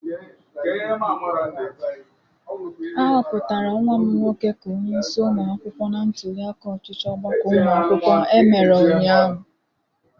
A hụpụtara nwa m nwoke ka onyeisi ụmụ akwụkwọ na ntuliaka ọchịchị ọgbakọ ụmụ akwụkwọ emere ụnyaahụ.